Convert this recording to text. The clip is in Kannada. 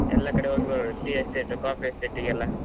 ಎಲ್ಲ ಕಡೆ ಹೋಗಿ ಬರ್ಬೋದು tea estate, coffee estate ಗೆಲ್ಲ